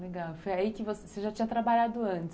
Legal, foi aí que você já tinha trabalhado antes?